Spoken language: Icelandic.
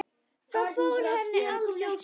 Það fór henni alls ekki.